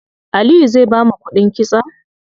Aliyu zai bamu kuɗin kitson?